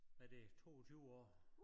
Hvad det 22 år